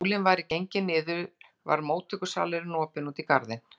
Þótt sólin væri gengin niður var móttökusalurinn opinn út í garðinn.